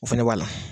O fɛnɛ b'a la